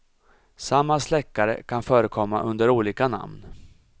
Samma släckare kan förekomma under olika namn.